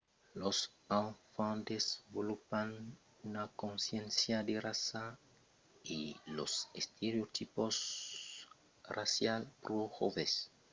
los enfants desvolopan una consciéncia de raça e los estereotips racials pro joves e aqueles estereotips racials afèctan lo comportament